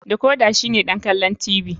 Decorder shine don kallon talabijin.